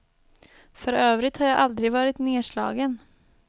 För övrigt har jag aldrig varit nerslagen.